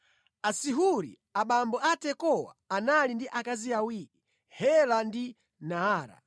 Asihuri abambo a Tekowa anali ndi akazi awiri, Hela ndi Naara.